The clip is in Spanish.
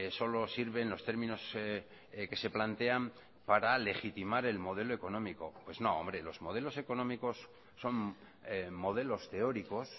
solo sirven los términos que se plantean para legitimar el modelo económico pues no hombre los modelos económicos son modelos teóricos